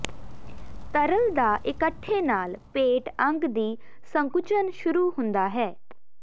ਤਰਲ ਦਾ ਇਕੱਠੇ ਨਾਲ ਪੇਟ ਅੰਗ ਦੀ ਸੰਕੁਚਨ ਸ਼ੁਰੂ ਹੁੰਦਾ ਹੈ